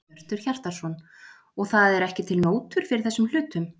Hjörtur Hjartarson: Og það eru ekki til nótur fyrir þessum hlutum?